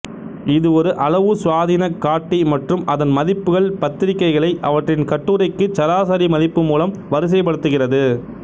இது ஒரு அளவுசுயாதீன காட்டி மற்றும் அதன் மதிப்புகள் பத்திரிகைகளை அவற்றின் கட்டுரைக்குச் சராசரி மதிப்பு மூலம் வரிசைப்படுத்துகிறது